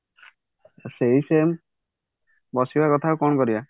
ସେଇ same ବସିବା କଥା ଆଉ କଣ କରିବା